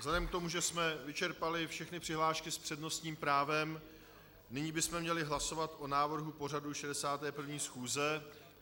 Vzhledem k tomu, že jsme vyčerpali všechny přihlášky s přednostním právem, nyní bychom měli hlasovat o návrhu pořadu 61. schůze.